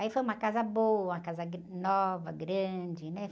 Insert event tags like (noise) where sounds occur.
Aí foi uma casa boa, uma casa (unintelligible) nova, grande, né?